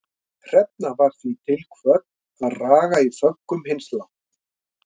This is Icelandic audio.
Hrefna var því til kvödd að raga í föggum hins látna.